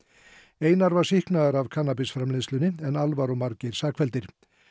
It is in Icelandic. einar var sýknaður af en Alvar og Margeir sakfelldir